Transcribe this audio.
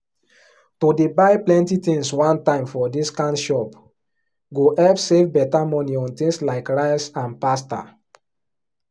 to dey buy plenty things one time for discount shop go help save better money on thiings like rice and pasta